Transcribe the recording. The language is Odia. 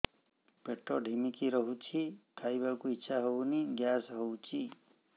ପେଟ ଢିମିକି ରହୁଛି ଖାଇବାକୁ ଇଛା ହଉନି ଗ୍ୟାସ ହଉଚି